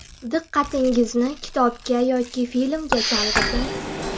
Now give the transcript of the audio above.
Diqqatingizni kitobga yoki filmga chalg‘iting.